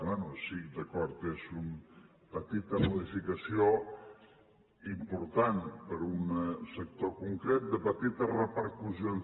bé sí d’acord és una petita modificació important per a un sector concret de petites repercussions